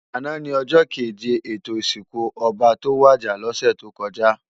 Àná ni òjò kéjé étó isinkú òbá tó wàjá lòsè tókòjá